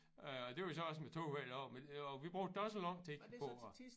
Øh og det var så også med toget hver dag men og vi brugte da også lang tid på at